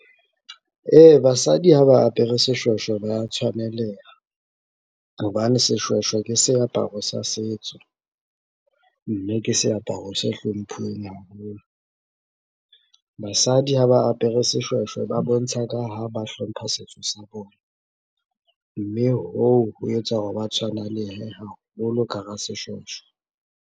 Ee, basadi ha ba apere seshweshwe ba ya tshwaneleha, hobane seshweshwe ke seaparo sa setso, mme ke seaparo se hlomphuweng haholo. Basadi ha ba apere seshweshwe ba bontsha ka ha ba hlompha setso sa bona, mme hoo ho etsa hore ba tshwanalehe haholo ka hara seshweshwe.